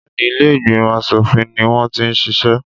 Béèni ilé ìgbìmọ̀ aṣòfin ni wọ́n ti ń ṣiṣẹ́.